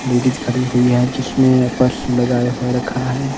Ladies खड़ी हुई है जिसने पर्स लगाए हुए रखा है।